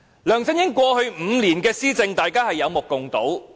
梁振英過去5年的施政，大家有目共睹。